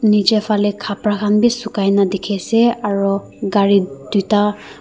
niche fale kapra khan bi sukaikena dikhi ase aro gari duita.